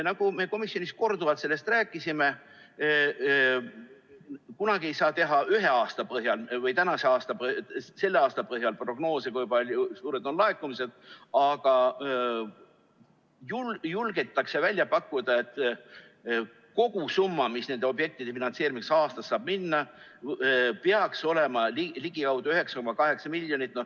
Nagu me komisjonis korduvalt rääkisime, kunagi ei saa teha prognoose, kui suured on laekumised, ühe aasta põhjal või selle aasta põhjal, aga julgetakse välja pakkuda, et kogusumma, mis nende objektide finantseerimiseks aastas saab minna, peaks olema ümardatult ligikaudu 9,8 miljonit.